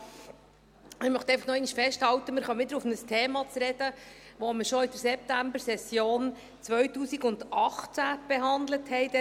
Ich möchte einfach nochmals festhalten, dass wir jetzt wieder auf ein Thema zu sprechen kommen, das wir schon in der Septembersession 2018 behandelt hatten.